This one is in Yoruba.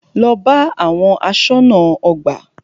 Lọ bá àwọn aṣọ́nà ọgbà!